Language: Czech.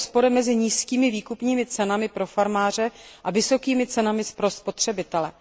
rozpory mezi nízkými výkupními cenami pro farmáře a vysokými cenami pro spotřebitele.